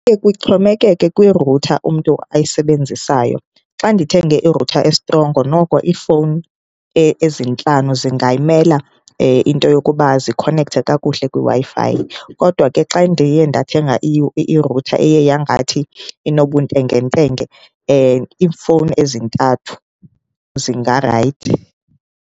Kuye kuxhomekeke kwirutha umntu ayisebenzisayo. Xa ndithenge irutha estrongo noko iifowuni ezintlanu zingayimela into yokuba zikhonekthe kakuhle kwiWi-Fi, kodwa ke xa ndiye ndathenga irutha eye yangathi inobuntengentenge iifowuni ezintathu zingarayithi.